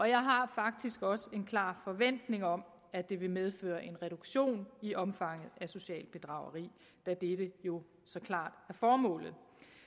jeg har faktisk også en klar forventning om at det vil medføre en reduktion i omfanget af socialt bedrageri da dette jo så klart er formålet